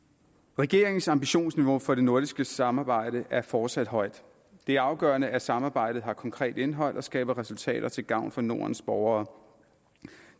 regeringens ambitionsniveau for det nordiske samarbejde er fortsat højt det er afgørende at samarbejdet har konkret indhold og skaber resultater til gavn for nordens borgere